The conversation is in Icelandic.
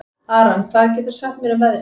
Aran, hvað geturðu sagt mér um veðrið?